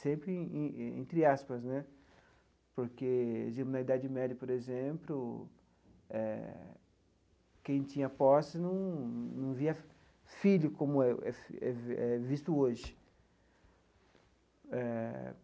Sempre entre aspas né, porque, digamos, na Idade Média, por exemplo eh, quem tinha posse num num via filho como é é é visto hoje eh.